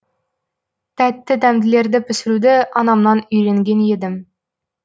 тәтті дәмділерді пісіруді анамнан үйренген едім